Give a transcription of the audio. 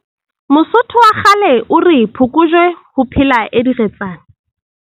Mosotho wa kgale o re, Phokojwe ho phela e diretsana!